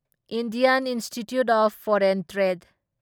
Indian institute of foreign trade